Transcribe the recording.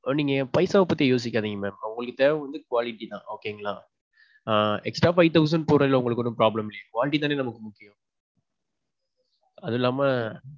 நீங்க பைசாவ பத்தி யோசிக்காதிங்க mam. உங்களுக்கு தேவை வந்து quality தான் okay ங்களா. ஆ. extra five thousand போட்றதுல உங்களுக்கு ஒன்னும் problem இல்லையே. quality தானே நமக்கு முக்கியம். அதில்லாம.